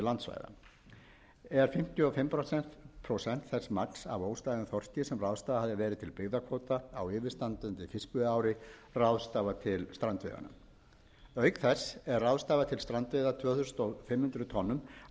landsvæða er fimmtíu og fimm prósent þess magns af óslægðum þorski sem ráðstafað hafði verið til byggðakvóta á yfirstandandi fiskveiðiári ráðstafað til strandveiðanna auk þess er ráðstafað til strandveiða tvö þúsund fimm hundruð tonnum